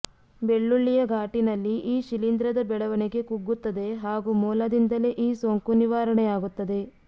ಬೆಳ್ಳುಳ್ಳಿಯ ಘಾಟಿನಲ್ಲಿ ಈ ಶಿಲೀಂಧ್ರದ ಬೆಳವಣಿಗೆ ಕುಗ್ಗುತ್ತದೆ ಹಾಗೂ ಮೂಲದಿಂದಲೇ ಈ ಸೋಂಕು ನಿವಾರಣೆಯಾಗುತ್ತದೆ